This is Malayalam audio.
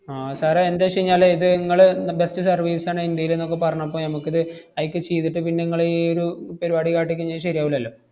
ആഹ് sir ഏ എന്തെച്ചെഞ്ഞാല് ഇത് ~ങ്ങള് ന്ന~ best service ആണ് ഇന്ത്യേലെന്നൊക്കെ പറഞ്ഞപ്പ ഞമ്മക്കിത്, അയിക്കെ ചെയ്തിട്ട് പിന്നെ ങ്ങളീയൊരു പരുപാടി കാട്ടികഴിഞ്ഞാ ശെരിയാവൂല്ലല്ലോ.